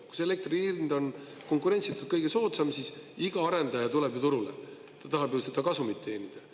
Kui see elektri hind on konkurentsitult kõige soodsam, siis iga arendaja tuleb turule, ta tahab ju seda kasumit teenida.